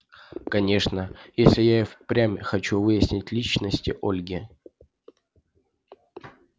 конечно если я и впрямь хочу выяснить личность ольги